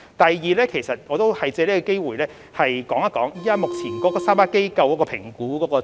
第二，我想借此機會略述目前3間服務機構的評估情況。